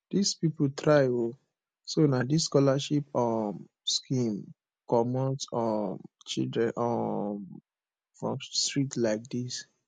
dis people try oo so na dis scholarship um scheme comot um children um from street like dis